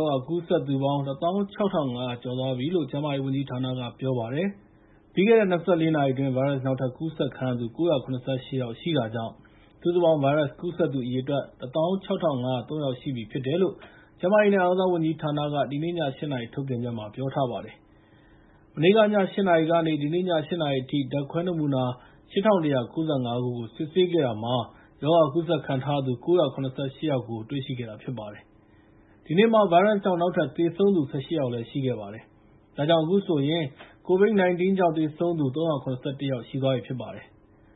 ောဂါ ကူးစက်သူပေါင်း ၁၆,၅၀၀ ကျော်သွားပြီလို့ ကျန်းမာရေးဝန်ကြီးဌာနက ပြောပါတယ်။ ပြီးခဲ့တဲ့ ၂၄ နာရီအတွင်း ဗိုင်းရပ်စ် နောက်ထပ်ကူးစက်ခံရသူ ၉၇၈ ယောက်ရှိတာကြောင့် စုစုပေါင်း ဗိုင်းရပ်စ်ကူးစက်သူ အရေအတွက် ၁၆,၅၀၃ ယောက်ရှိပြီလို့ ကျန်းမာရေးနဲ့ အားကစားဝန်ကြီးဌာနက ဒီနေ့ည ၈ နာရီ ထုတ်ပြန်ချက်မှာ ပြောထားပါတယ်။ မနေ့ည ၈ နာရီကနေ ဒီနေ့ည ၈ နာရီအထိ ဓာတ်ခွဲနမူနာ ၈,၁၉၅ ခုကို စစ်ဆေးခဲ့တာမှာ ရောဂါကူးစက်ခံထားရသူ ၉၇၈ ယောက်ကို တွေ့ရှိခဲ့တာဖြစ်ပါတယ်။ ဒီနေ့မှာ ဗိုင်းရပ်စ်ကြောင့် နောက်ထပ်သေဆုံးသူ ၁၈ ယောက် ရှိခဲ့ပါတယ်။ ဒါကြောင့် အခုဆိုရင် COVID-19 ရောဂါကြောင့် သေဆုံးသူ ၃၇၁ ယောက် ရှိသွားပြီဖြစ်ပါတယ်